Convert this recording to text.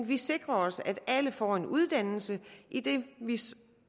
vi sikrer os at alle får en uddannelse idet